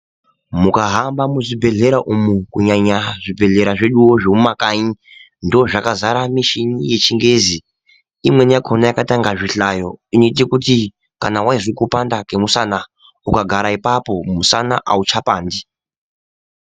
Mukahamba muzvibhedhlera umu kunyanya zvibhedhlera zvedu zvemumakanyi ndomwakadzara mushini yechingezi imweni yakhona yakaita inga zvihlayo inoite kuti kana waizwe kupanda kwemusana ukagara apapo mushana auchapandi.